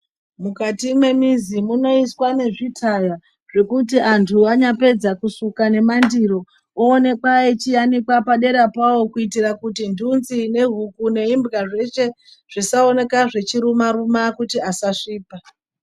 Mukati mwemizi mwunoiswa nezvitaya zvekuti antu anyapedza kusuka nemandiro owanekwa achianikwa padera pawo kuitira kuti ndunzi neguku neimbwa zveshe zvisaoneka zvichiruma ruma kuti asasvipa .